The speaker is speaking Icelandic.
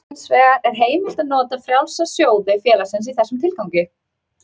Hins vegar er heimilt að nota frjálsa sjóði félagsins í þessum tilgangi.